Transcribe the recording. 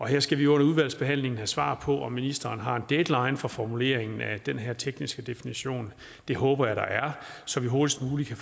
her skal vi under udvalgsbehandlingen have svar på om ministeren har en deadline for formuleringen af den her tekniske definition det håber jeg der er så vi hurtigst muligt kan